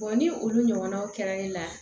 ni olu ɲɔgɔnnaw kɛra ne la